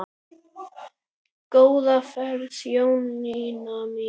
Góða ferð Jónína mín.